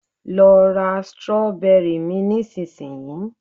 lo ra strawberry mi nisinsinyi